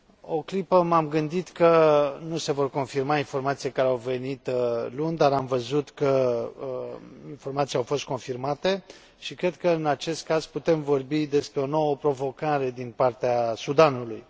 O clipă m am gândit că nu se vor confirma informațiile care au venit luni, dar am văzut că informațiile au fost confirmate și cred că, în acest caz, putem vorbi despre o nouă provocare din partea Sudanului.